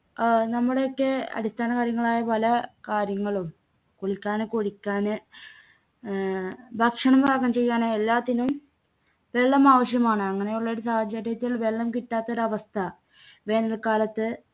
അഹ് നമ്മുടെയൊക്കെ അടിസ്ഥാനകാര്യങ്ങളായ പല കാര്യങ്ങളും കുളിക്കാന് കുടിക്കാന് ആഹ് ഭക്ഷണം പാകം ചെയ്യാനും എല്ലാത്തിനും വെള്ളം ആവശ്യമാണ് അങ്ങനെ ഉള്ളൊരു സാഹചര്യത്തിൽ വെള്ളം കിട്ടാത്തൊരവസ്ഥ വേനൽക്കാലത്ത്